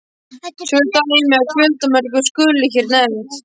Tvö dæmi af fjöldamörgum skulu hér nefnd.